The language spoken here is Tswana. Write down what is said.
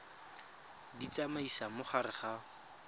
di tsamaisa mo gare ga